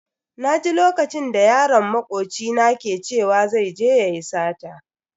Naji lokacin da yaron makoci na ke cewa zai je yayi sata.